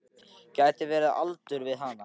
Gæti verið á aldur við hann.